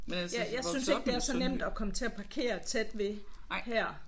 Jeg synes ikke det er så nemt at komme til at parkere tæt ved her